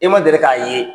E ma deli k'a ye